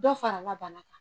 Dɔ farala bana kan.